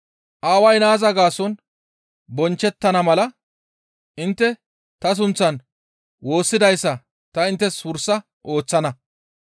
Aaway naaza gaason bonchchettana mala intte ta sunththan woossidayssa ta inttes wursa ooththana.